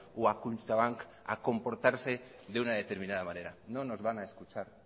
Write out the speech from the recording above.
o a kutxabank a comportarse de una determinada manera